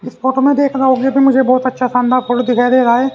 इस फोटो में देख रहा हु ये भी मुझे बहुत अच्छा शानदार फोटो दिखाई दे रहा है ।